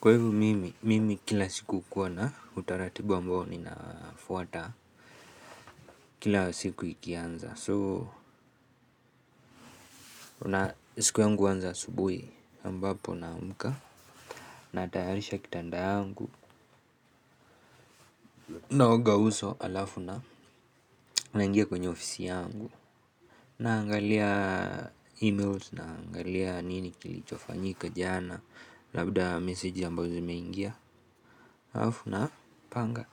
Kwa hivo mimi, mimi kila siku hukuwa na utaratibu ambao ninafuata kila siku ikianza so, siku yangu huanza asubuhi ambapo na amka. Natayarisha kitanda yangu. Naoga uso alafu na ingia kwenye ofisi yangu. Naangalia emails naangalia nini kilichofanyika jana. Labda meseji ambazo zimeingia alafu na panga.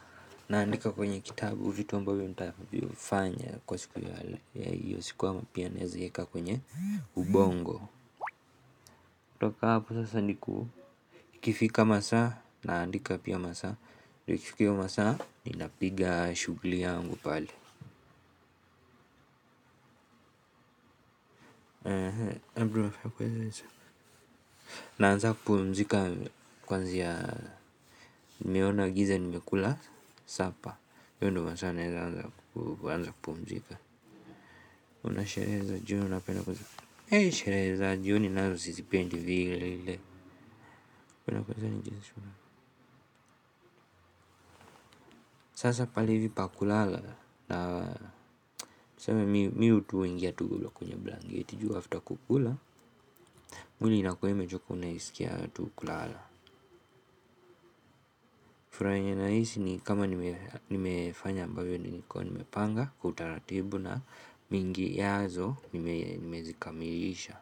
Naandika kwenye kitabu vitu ambavyo nitavifanya kwa siku ya hale ya hiyo sikuwa mpia nezeheka kwenye ubongo. Toka hapo sasa ni ku ikifika masaa naandika pia masaa. Ikifika hiyo masaa inapiga shughuli yangu pale. Naanza kupumzika kwanza ya meona giza ni mekula sapa Yondo masana anza kupumzika. Unashereza june unapena kuzika Hei shereza jioni nazo sisi pendi vile. Sasa palivi pakulala. Na niseme miu tuwingia tugu la kunye blangieti juu after kukula Muli inakweme chuko unaisikia tukulala. Furaha yenye nahisi ni kama nimefanya ambavyo nilikuwa nimepanga kwa utaratibu na mingiyazo nimezikamilisha.